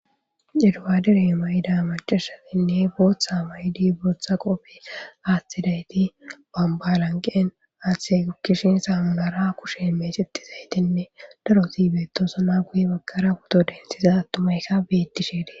eduwaadere mayida macashatinne booththa may7idi bootha qopfi aathtidayti bambalanqeen aathhe kkishin saamunara kushemmee sittizaytinne daro siibeetosona guye bakara huto densiza attumaykka bettisheede